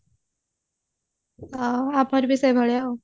ଆଉ ୟା ପରେ ବି ସେଇଭଳିଆ ଆଉ